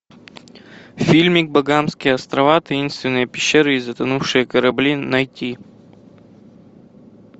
фильмик багамские острова таинственные пещеры и затонувшие корабли найти